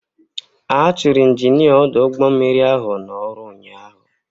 A chụrụ Injinia ọdụ ụgbọ mmiri ahụ n'ọrụ ụnyaahụ.